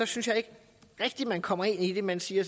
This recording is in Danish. synes ikke rigtigt man kommer ind i det man siger